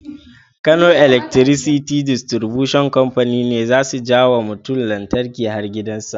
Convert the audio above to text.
Kano Electricity Distribution Company ne zasu jawa mutun lantarki har gidan sa